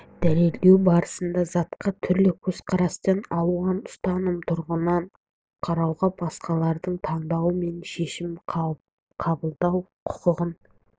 дәлелдеу барысында затқа түрлі көзқараспен алуан ұстаным тұғырынан қарауға басқалардың таңдауы мен шешім қабылдау құқығын